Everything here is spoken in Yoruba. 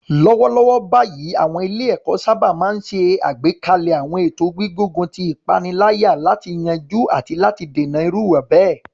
Lọ́wọ́lọ́wọ́ báyìí, àwọn ilé-ẹ̀kọ́ sábà máa ń ṣe àgbékalẹ̀ àwọn ètò gbígbógun ti ìpaniláyà láti yanjú àti láti dènà irú ìwà bẹ́ẹ̀.